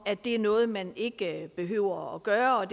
det er noget man ikke behøver at gøre om